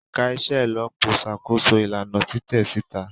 Ẹka iṣelọpọ n ṣakoso ilana titẹ sita.